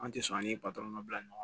An tɛ sɔn an ni bila ɲɔgɔn kɔ